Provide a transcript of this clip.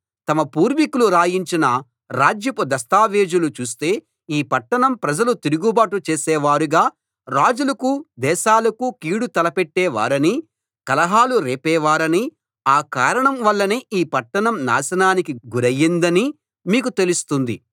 తమ పూర్వికులు రాయించిన రాజ్యపు దస్తావేజులు చూస్తే ఈ పట్టణం ప్రజలు తిరుగుబాటు చేసేవారుగా రాజులకు దేశాలకు కీడు తలపెట్టేవారనీ కలహాలు రేపేవారనీ ఆ కారణం వల్లనే ఈ పట్టణం నాశనానికి గురయిందనీ మీకు తెలుస్తుంది